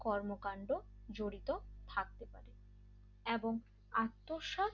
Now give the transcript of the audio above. কর্মকাণ্ড জড়িত থাকতে পার এবং আত্মসাৎ